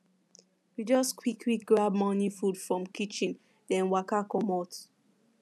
we just quick quick grab morning food from kitchen then waka comot